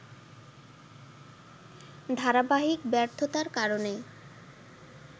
ধারাবাহিক ব্যর্থতার কারণে